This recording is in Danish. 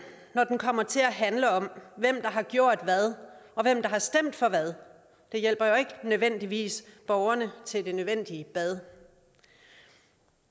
når den kommer til at handle om hvem der har gjort hvad og hvem der har stemt for hvad det hjælper jo ikke nødvendigvis borgerne til det nødvendige bad